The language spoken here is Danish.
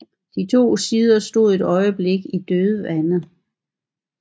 De to sider stod et øjeblik i et dødvande